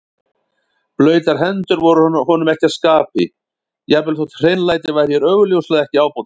Blautar hendur voru honum ekki að skapi, jafnvel þótt hreinlæti væri hér augljóslega ekki ábótavant.